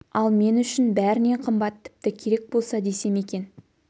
ал мен үшін бәрінен қымбат тіпті керек болса десем екен